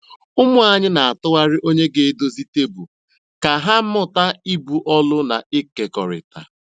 Ụmụ anyị n'atụgharị onye ga edozie tebụl ka ha mụta ibu ọlụ na ịkekọrịta.